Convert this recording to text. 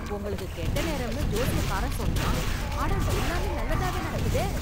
உங்களுக்கு கெட்ட நேரம்னு ஜோஷ்யகாரன் சொன்னான், ஆனா எல்லாமே நல்லதாவே நடக்குதே.